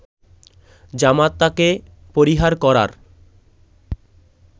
জামাতাকে পরিহার করার